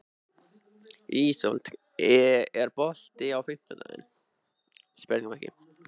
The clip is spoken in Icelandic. Ísold, er bolti á fimmtudaginn?